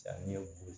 Sanni ye ko